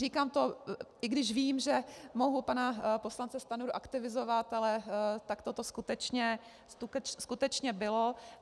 Říkám to, i když vím, že mohu pana poslance Stanjuru aktivizovat, ale takto to skutečně bylo.